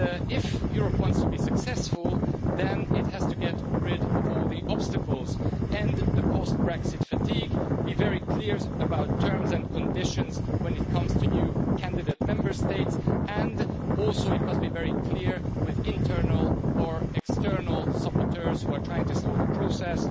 If Europe wants to be successful, it has to get rid of all the obstacles and the post-Brexit fatigue, be very clear about terms and conditions when it comes to new candidate Member States, and it must also be very clear with internal or external saboteurs who are trying to slow the process.